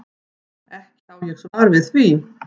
Ekki á ég svar við því.